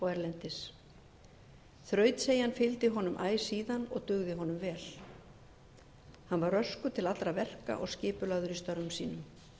erlendis þrautseigjan fylgdi honum æ síðan og dugði honum vel hann var röskur til allra verka og skipulagður í störfum sínum